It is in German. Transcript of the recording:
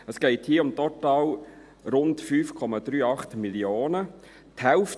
Es geht hier um total rund 5,38 Mio. Franken.